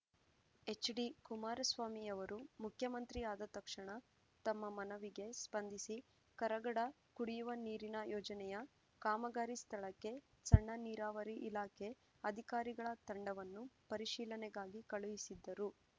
HD Kumaraswamy ಅವರು ಮುಖ್ಯಮಂತ್ರಿ ಆದ ತಕ್ಷಣ ತಮ್ಮ ಮನವಿಗೆ ಸ್ಪಂದಿಸಿ ಕರಗಡ ಕುಡಿಯುವ ನೀರಿನ ಯೋಜನೆಯ ಕಾಮಗಾರಿ ಸ್ಥಳಕ್ಕೆ ಸಣ್ಣ ನೀರಾವರಿ ಇಲಾಖೆ ಅಧಿಕಾರಿಗಳ ತಂಡವನ್ನು ಪರಿಶೀಲನೆಗಾಗಿ ಕಳುಹಿಸಿದ್ದರು